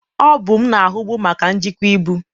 Ọ bụ m na-ahụbu maka njikwa ibu.